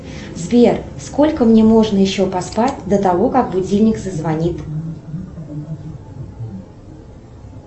сбер сколько мне можно еще поспать до того как будильник зазвонит